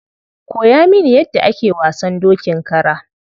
Koya mini yadda ake wasan dokin kara.